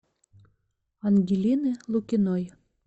ангелины лукиной